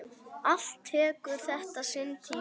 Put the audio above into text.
Allt tekur þetta sinn tíma.